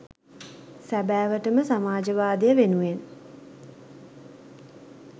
සැබෑවටම සමාජවාදය වෙනුවෙන්